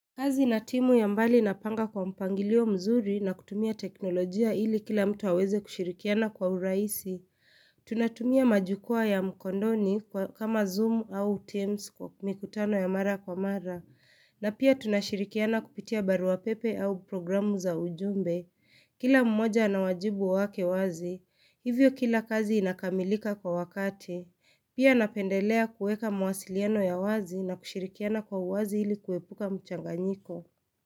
Kazi na timu ya mbali napanga kwa mpangilio mzuri na kutumia teknolojia ili kila mtu aweze kushirikiana kwa urahisi. Tunatumia majukwa ya mkondoni kama Zoom au Teams kwa mikutano ya mara kwa mara. Na pia tunashirikiana kupitia barua pepe au programu za ujumbe. Kila mmoja na wajibu wake wazi. Hivyo kila kazi inakamilika kwa wakati. Pia napendelea kueka mawasiliano ya wazi na kushirikiana kwa uwazi ili kuepuka mchanganyiko.